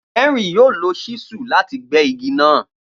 Henry yoo lo ṣísù lati gbẹ igi naa.